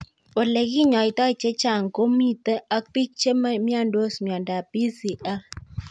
ole kinyoitoi chechang' komito ak pik che miandos miondop PCL